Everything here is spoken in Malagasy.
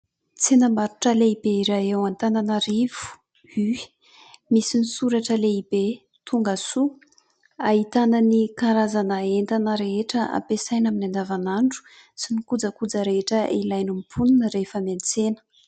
Tsena barotra lehibe iray eo antananarivo "U" misy ny soratra lehibe tongasoa, ahitana ny karazana entana rehetra ampiasaina amin'ny andavanandro sy ny kojakoja rehetra ilain'ny mponina rehefa miantsena.